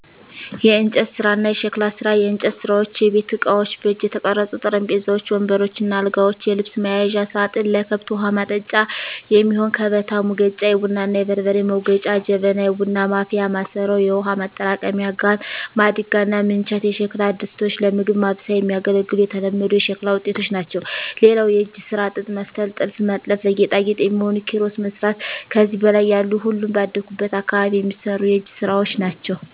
**የእንጨት ስራ እና የሸክላ ስራ፦ *የእንጨት ስራዎች * የቤት እቃዎች: በእጅ የተቀረጹ ጠረጴዛዎች፣ ወንበሮች እና አልጋዎች፣ የልብስ መያዣ ሳጥን፣ ለከብት ውሀ ማጠጫ የሚሆን ከበታ፣ ሙገጫ(የቡና እና የበርበሬ መውገጫ) ጀበና (የቡና ማፍያ ማሰሮ)፣ የውሃ ማጠራቀሚያ ጋን፣ ማድጋ እና ምንቸት የሸክላ ድስቶች ለምግብ ማብሰያ የሚያገለግሉ የተለመዱ የሸክላ ውጤቶች ናቸው። *ሌላው የእጅ ስራ ጥጥ መፍተል *ጥልፍ መጥለፍ *ለጌጣጌጥ የሚሆኑ ኪሮስ መስራት ከዚህ በላይ ያሉ ሁሉም ባደኩበት አካባቢ የሚሰሩ የእጅ ስራወች ናቸው።